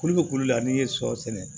Kulu bɛ kulu la n'i ye sɔ sɛnɛ